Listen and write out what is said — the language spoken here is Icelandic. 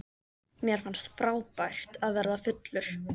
Mér fannst frábært að verða fullur.